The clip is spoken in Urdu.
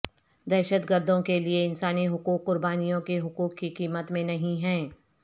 دہشت گردوں کے لئے انسانی حقوق قربانیوں کے حقوق کی قیمت میں نہیں ہیں